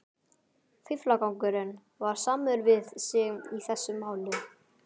Fíflagangurinn var samur við sig í þessu máli.